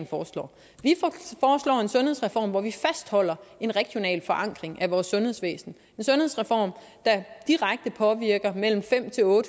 foreslår en sundhedsreform hvor vi fastholder en regional forankring af vores sundhedsvæsen en sundhedsreform der direkte påvirker mellem fem